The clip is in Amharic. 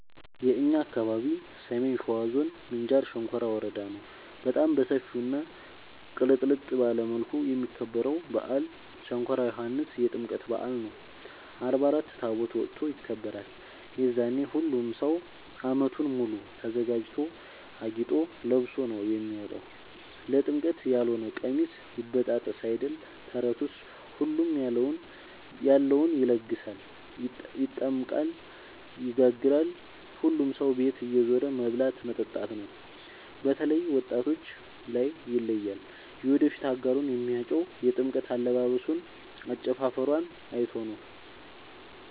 የእኛ አካባቢ ሰሜን ሸዋ ዞን ምንጃር ሸንኮራ ወረዳ ነው። በጣም በሰፊው እና ቅልጥልጥ ባለ መልኩ የሚከበረው በአል ሸንኮራ ዮኋንስ የጥምቀት በአል ነው። አርባ አራት ታቦት ወጥቶ ይከብራል። የዛኔ ሁሉም ሰው አመቱን ሙሉ ተዘጋጅቶ አጊጦ ለብሶ ነው የሚወጣው ለጥምቀት ያሎነ ቀሚስ ይበጣጠስ አይደል ተረቱስ ሁሉም ያለውን ይደግሳል። ይጠምቃል ይጋግራል ሁሉም ሰው ቤት እየዞሩ መብላት መጠጣት ነው። በተላይ ወጣቶች ላይ ይለያል። የወደፊት አጋሩን የሚያጨው የጥምቀት አለባበሶን አጨፉፈሯን አይቶ ነው።